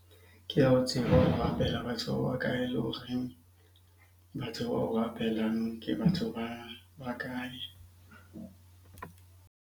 Ke ya ho tseba o batho ba bakae? Le horeng batho ke batho ba bakae?